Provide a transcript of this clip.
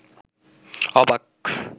অবাক